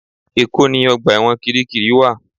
Èkó ni ọgbà ẹ̀wọ̀n Kirikiri wa